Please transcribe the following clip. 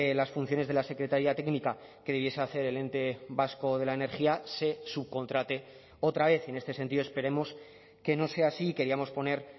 las funciones de la secretaría técnica que debiese hacer el ente vasco de la energía se subcontrate otra vez en este sentido esperemos que no sea así queríamos poner